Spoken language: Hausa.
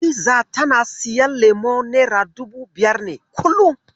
Hadiza tana siyan leman nera dubu biyar, kullum.